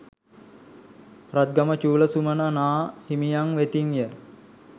රත්ගම චූල සුමන නා හිමියන් වෙතින් ය.